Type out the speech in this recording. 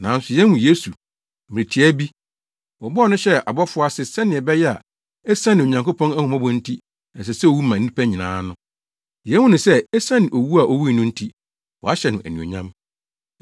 Nanso yehu Yesu! Mmere tiaa bi, wɔbɔɔ no hyɛɛ abɔfo ase sɛnea ɛbɛyɛ a esiane Onyankopɔn ahummɔbɔ nti ɛsɛ sɛ owu ma nnipa nyinaa no. Yehu no sɛ esiane owu a owui no nti, wɔahyɛ no anuonyam.